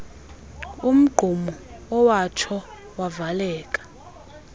umgqumo owatsho wavaleka